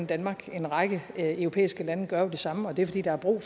danmark en række europæiske lande gør jo det samme og det er fordi der er brug